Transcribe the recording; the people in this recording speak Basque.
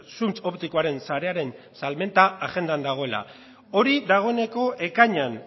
zuntz optikoaren sarearen salmenta agendan dagoela hori dagoeneko ekainean